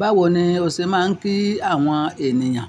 Báwo ni o ṣe máa ń kí àwọn ènìyàn?